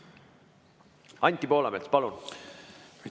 Anti Poolamets, palun!